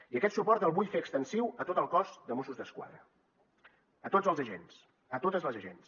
i aquest suport el vull fer extensiu a tot el cos de mossos d’esquadra a tots els agents a totes les agents